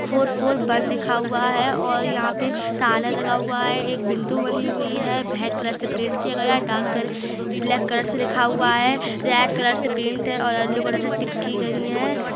Four four one लिखा हुआ है और यहाँ पे ताला लगा हुआ है एक बिंदु बनी हुई है भाईट कलर से पैंट किया गया है डाक घर ब्लैक कलर से लिखा हुआ है रेड कलर से पैंट है और अल्लो कलर से टिक कि गई है।